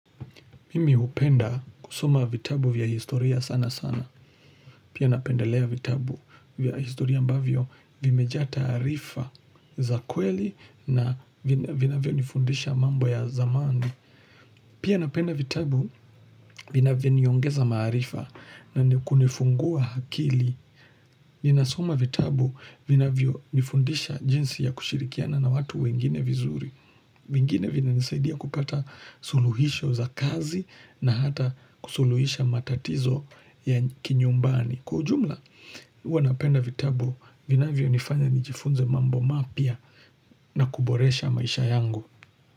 Mimi hupenda kusoma vitabu vya historia sana sana. Pia napendelea vitabu vya historia ambavyo vimejaa taarifa za kweli na vinanavyonifundisha mambo ya zamani. Pia napenda vitabu vinavyoniongeza maarifa na ni kunifungua akili. Ninasoma vitabu vinavyo nifundisha jinsi ya kushirikiana na watu wengine vizuri vingine vina nisaidia kupata suluhisho za kazi na hata kusuluhisha matatizo ya kinyumbani Kwa ujumla uwa napenda vitabu vinavyo nifanya nijifunze mambo mapya na kuboresha maisha yangu.